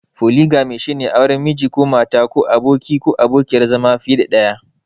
Foligami shine auren Miji/Mata ko abokin/abokiyar zama fiye da ɗaya.